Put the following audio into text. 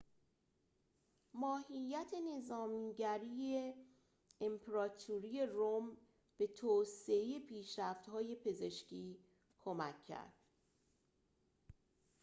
ماهیت نظامی‌گرای امپراتوری روم به توسعه پیشرفت‌های پزشکی کمک کرد